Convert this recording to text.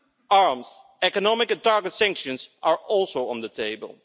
Arms, economic and targeted sanctions are also on the table.